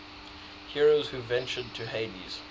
heroes who ventured to hades